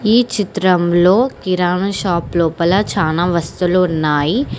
ఈ చిత్రంలో కిరాణా షాపు లోపల చానా వస్తువులు ఉన్నాయి.